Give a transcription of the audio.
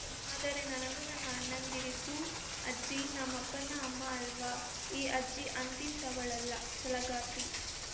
ಆದರೆ ನನಗೂ ನನ್ನ ಅಣ್ಣಂದಿರಿಗೂ ಅಜ್ಜಿ ನಮ್ಮಪ್ಪನ ಅಮ್ಮ ಅಲ್ವಾ ಈ ಅಜ್ಜಿ ಅಂತಿಂತಹವಳಲ್ಲ ಛಲಗಾತಿ